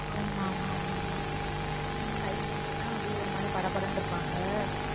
ஆமா ஆமா ஆமா ஆமா high pressure அப்படியே ஒரு மாதிரி படபடன்னு இருப்பாங்க